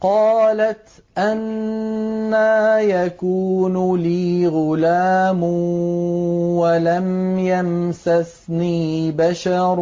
قَالَتْ أَنَّىٰ يَكُونُ لِي غُلَامٌ وَلَمْ يَمْسَسْنِي بَشَرٌ